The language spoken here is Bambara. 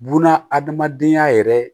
Buna adamadenya yɛrɛ